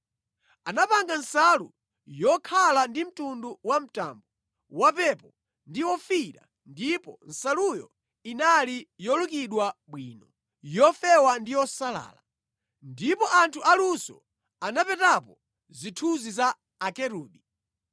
Anapanga nsalu yokhala ndi mtundu wamtambo, wapepo ndi ofiira ndipo nsaluyo inali yolukidwa bwino, yofewa ndi yosalala. Ndipo anthu aluso anapetapo zithunzi za Akerubi.